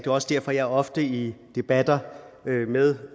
også derfor jeg ofte i debatter med